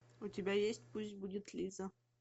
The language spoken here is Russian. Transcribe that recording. у тебя есть пусть будет лиза